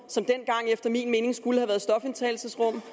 som dengang efter min mening skulle have været stofindtagelsesrum